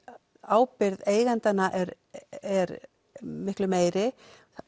ábyrgð eigendanna er er miklu meiri